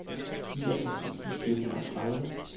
niogtres tusind fire hundrede og tredive